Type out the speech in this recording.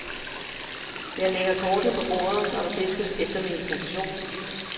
Jeg lægger kortene på bordet, når der fiskes efter min profession.